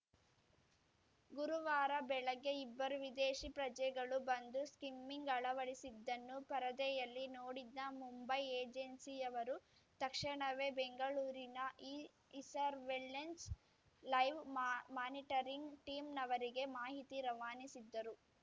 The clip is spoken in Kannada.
ಗುರುವಾರ ಬೆಳಗ್ಗೆ ಇಬ್ಬರು ವಿದೇಶಿ ಪ್ರಜೆಗಳು ಬಂದು ಸ್ಕಿಮ್ಮಿಂಗ್‌ ಅಳವಡಿಸಿದ್ದನ್ನು ಪರದೆಯಲ್ಲಿ ನೋಡಿದ್ದ ಮುಂಬೈ ಏಜೆನ್ಸಿಯವರು ತಕ್ಷಣವೇ ಬೆಂಗಳೂರಿನ ಇ ಇಸರ್ವೆಲೆನ್ಸೆ ಲೈವ್‌ ಮಾ ಮಾನಿಟರಿಂಗ್‌ ಟೀಮ್‌ನವರಿಗೆ ಮಾಹಿತಿ ರವಾನಿಸಿದ್ದರು